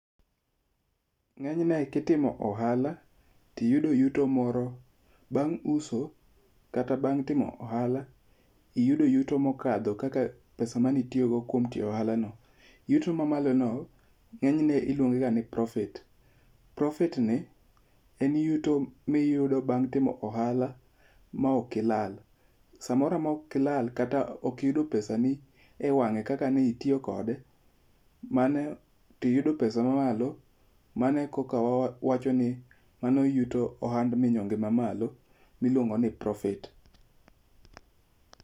Ng'enyne kitimo ohala, tiyudo yuto moro bang' uso kata bang' timo ohala iyudo yuto mokadho kaka pesa mane itiyogo kuom tiyo ohalano, yuto mamalono, ng'enyne iluonge ga ni profit. Profit ni en yuto miyudo bang' timo ohala maok ilal. Samoro amora maok ilal kata ok iyudo pesani, ewang'e kaka ne itiyo kode to iyudo pesa mamalo mane e kaka wawacho ni ohand minyonge mamalo milungo ni profit.